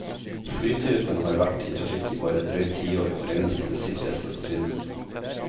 Flytypen har vært i trafikk i bare et drøyt tiår, og regnes blant de sikreste som finnes.